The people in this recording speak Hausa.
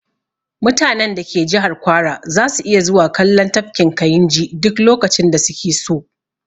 Mutanen da ke jihar kwara zasu iya zuwa kallon tafkin kayinji duk lokacin da su ke so